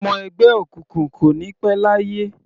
Ọmọ ẹgbẹ́ òkùnkùn kò ní pẹ́ láyé.